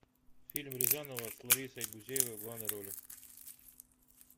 фильм рязанова с ларисой гузеевой в главной роли